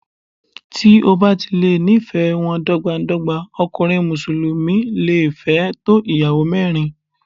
Tí o bá ti lè ní ìfẹ́ wọn dọ́gba dọ́gba, ọkùnrin Mùsùlùmí le fẹ́ tó Ìyàwó mẹ́rin.